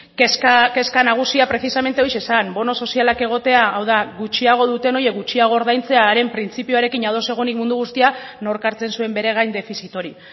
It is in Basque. kezka nagusia precisamente hori zen bono sozialak egotea hau da gutxiago duten horiek gutxiago ordaintzea haren printzipioarekin ados egonik mundu guztia nork hartzen zuen bere gain defizit hori